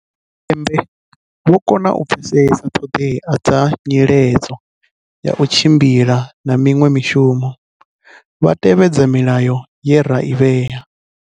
Tshipembe vho kona u pfe-sesa ṱhoḓea dza nyiledzo ya u tshimbila na miṅwe mishumo, vha tevhedza milayo ye ra i vhea.